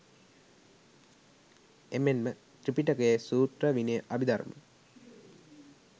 එමෙන්ම ත්‍රිපිටකයේ සූත්‍ර විනය අභිධර්ම